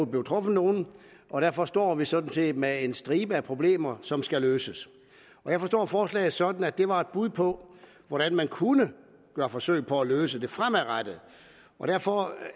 blev truffet nogen og derfor står vi sådan set med en stribe af problemer som skal løses jeg forstår forslaget sådan at det var et bud på hvordan man kunne gøre forsøg på at løse det fremadrettet og derfor